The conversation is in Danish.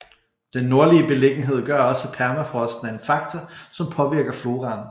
Den nordlige beliggenhed gør også at permafrosten er en faktor som påvirker floraen